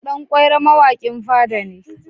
Dan ƙwairo mawaƙin fada ne.